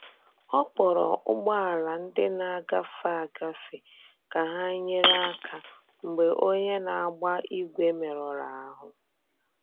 Ọ kpọrọ ụgbọ̀ala ndị na-agefe agafe ka hà nyere aka mgbe onye na-agba ígwè merụrụ ahú.